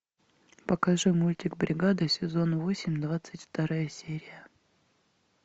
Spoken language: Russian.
покажи мультик бригада сезон восемь двадцать вторая серия